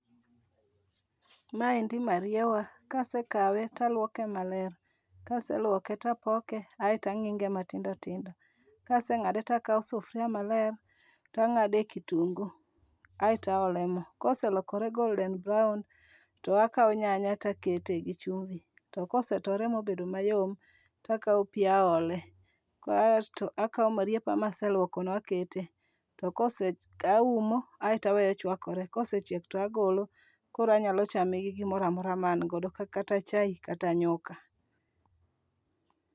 Maendi mariewa kasekawe to aluoke maler. Kaseluoke to apoke aeto ang'inge matindo tindo. Kaseng'ade to akawo [ca]sufuria maler to ang'ade kitungu aeto aelo mo. Koselokore golden brown to akawo nyanya to akete gi chumbi. To kosetore mobedo mayom to akawo pi aole kaesto akawo marieba maseluoko no akete. To kose aumo aeto aweyo chwakore. Kosechiek to agolo koro anyalo chame gi gimoro amora ma an godo kata chae kata nyuka.